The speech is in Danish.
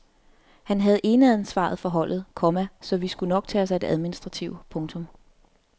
Han havde eneansvaret for holdet, komma så skulle vi nok tage os af det administrative. punktum